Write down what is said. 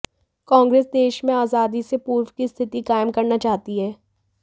कांग्रेस देश में आजादी से पूर्व की स्थिति कायम करना चाहती है